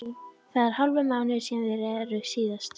Það er hálfur mánuður síðan þeir reru síðast.